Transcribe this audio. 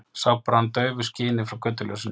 Sá bara hann í daufu skini frá götuljósinu.